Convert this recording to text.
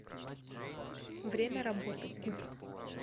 время работы куб